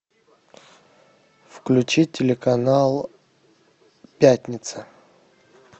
включи телеканал пятница